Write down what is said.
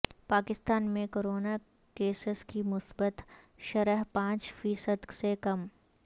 پاکستان میں corona cases کی مثبت شرح پانچ فی صد سے کم